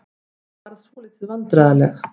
Ég varð svolítið vandræðaleg.